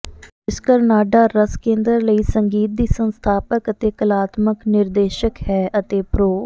ਰਾਜੇਸਕਰ ਨਾਢਾ ਰਸ ਕੇਂਦਰ ਲਈ ਸੰਗੀਤ ਦੀ ਸੰਸਥਾਪਕ ਅਤੇ ਕਲਾਤਮਕ ਨਿਰਦੇਸ਼ਕ ਹੈ ਅਤੇ ਪ੍ਰੋ